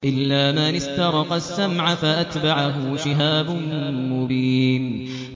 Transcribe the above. إِلَّا مَنِ اسْتَرَقَ السَّمْعَ فَأَتْبَعَهُ شِهَابٌ مُّبِينٌ